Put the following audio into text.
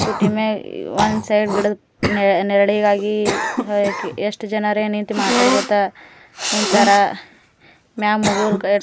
scooty ಮೇಲ one side ನೆರಳಿಗಾಗಿ ಎಸ್ಟ್ ಜನರು ಮಾತಾಡ್ಕೋತ ನಿಂತರ ಮ್ಯಾಲೆ ಹೋಗೋರ್ಗ--